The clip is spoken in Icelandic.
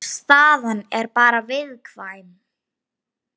Uggi Jónsson þýddi bókina.